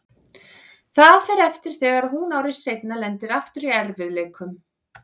Það fer eftir þegar hún ári seinna lendir aftur í erfiðleikum.